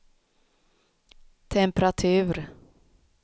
temperatur